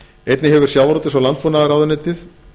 einnig hefur sjávarútvegs og landbúnaðarráðuneytið